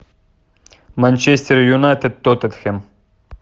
манчестер юнайтед тоттенхэм